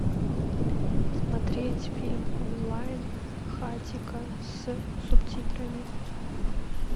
смотреть фильм онлайн хатико с субтитрами